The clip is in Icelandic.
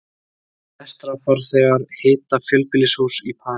Lestarfarþegar hita fjölbýlishús í París